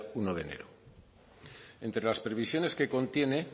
uno de enero entre las previsiones que contiene